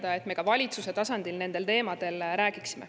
Nii et me ka valitsuse tasandil nendel teemadel räägime.